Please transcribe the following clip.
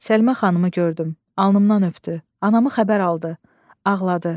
Səlimə xanımı gördüm, alnımdan öpdü, anamı xəbər aldı, ağladı.